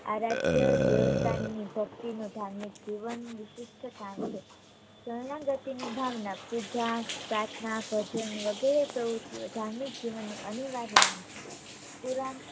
આરાધ્ય દેવતાની ભક્તિનો ધાર્મિક જીવન વિશિષ્ટ જાણ છે . શરણાગતિ નિભાવનાર પૂજા પ્રાર્થના ભજન વગેરે પ્રવૃત્તિઓ ધાર્મિક જીવન નો અનિવાર્ય અંગ છે